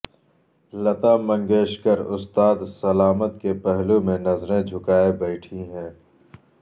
لتا منگیشکر استاد سلامت کے پہلو میں نظریں جھکائے بیٹھیں ہیں